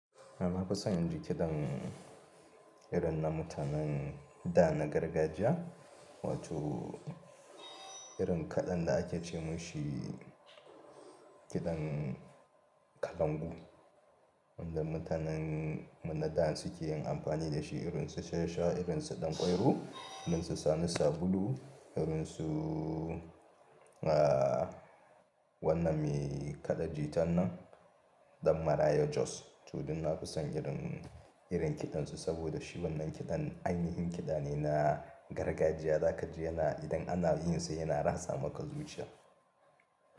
Ah na fi san inji kiɗan irin na mutanen da na gargajiya, wato irin kaɗan da ake ce mushi kiɗan kalangu. Wanda mutanen mu na dan su ke yin amfani da shi irin su Shansha, irin su Ɗan Ƙwairo, irin su Sani sabulu, irin su, ah wanna me kaɗa jitan nan Ɗan Maraya Jos. To dun na fi san irin, irin kiɗan su saboda shi wannan kiɗan anyi yin kiɗa ne na gargajiya, za ka ji yana idan ana yin sa yana ratsa maka zuciya.